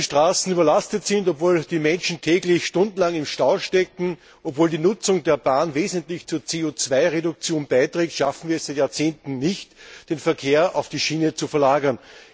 Obwohl die Straßen überlastet sind, obwohl die Menschen täglich stundenlang im Stau stecken, obwohl die Nutzung der Bahn wesentlich zur CO Reduktion beiträgt, schaffen wir es in Jahrzehnten nicht, den Verkehr auf die Schiene zu verlagern.